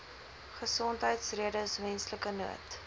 gesondheidsredes menslike nood